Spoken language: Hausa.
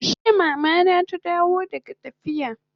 Jiya Mama na ta dawo daga tafiya